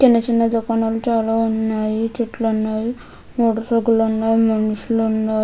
చిన్న చిన్న దుకాణాలు చాలా ఉన్నాయి. చెట్లు ఉన్నాయి. మనుషులు ఉన్నారు.